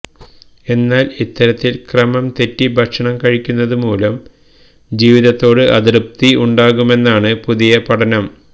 എന്നാല് ഇത്തരത്തില് ക്രമം തെറ്റി ഭക്ഷണം കഴിക്കുന്നതുമൂലം ജീവിതത്തോട് അതൃപ്തി ഉണ്ടാകുമെന്നാണ് പുതിയ പഠനം